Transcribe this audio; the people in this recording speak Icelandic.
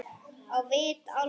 Á vit álfa.